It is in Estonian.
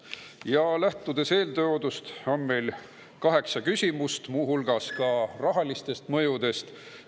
Ja lähtudes eeltoodust on meil kaheksa küsimust, muu hulgas rahalisest mõjust.